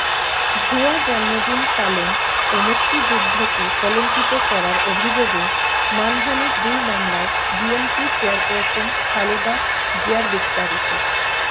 ভুয়া জন্মদিন পালন ও মুক্তিযুদ্ধকে কলঙ্কিত করার অভিযোগে মানহানির দুই মামলায় বিএনপি চেয়ারপারসন খালেদা জিয়ারবিস্তারিত